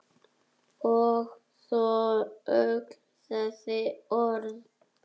Og svo öll þessi orð.